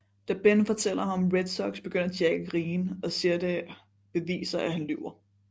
Da Ben fortæller ham om Red Sox begynder Jack at grine og siger at det beviser at han lyver